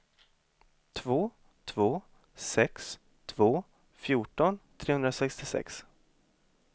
två två sex två fjorton trehundrasextiosex